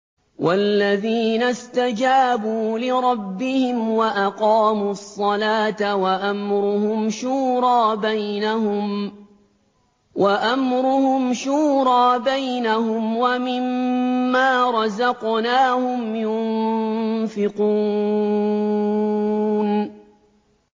وَالَّذِينَ اسْتَجَابُوا لِرَبِّهِمْ وَأَقَامُوا الصَّلَاةَ وَأَمْرُهُمْ شُورَىٰ بَيْنَهُمْ وَمِمَّا رَزَقْنَاهُمْ يُنفِقُونَ